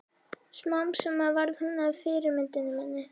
Smám saman varð hún að fyrirmyndinni minni.